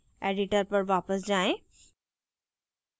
editor पर वापस आएँ